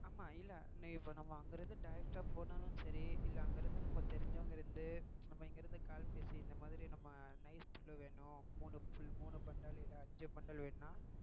ஆமா இல்ல இப்ப நம்ம அங்கிருந்து direct ஆ போனாலும் சரி இல்ல அங்கிருந்து நமக்கு தெரிஞ்சவங்க இருந்து நம்ம இங்கிருந்து call பேசி இந்த மாதிரி நம்ம nice புல்லு வேணும் மூணுபுல்லு மூணு bundle இல்ல அஞ்சு bundle வேணும்னா